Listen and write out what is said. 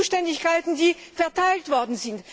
Die Zuständigkeiten sind verteilt worden.